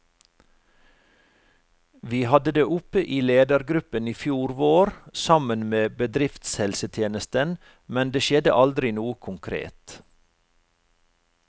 Vi hadde det oppe i ledergruppen i fjor vår, sammen med bedriftshelsetjenesten, men det skjedde aldri noe konkret.